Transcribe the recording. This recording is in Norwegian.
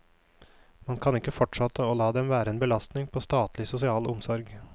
Man kan ikke fortsette å la dem være en belastning på statlig sosial omsorg.